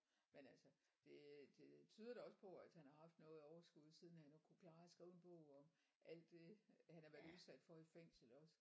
Men altså det det tyder da også på at han har haft noget overskud når han nu kunne klare at skrive en bog om alt det han har været udsat for i fængslet også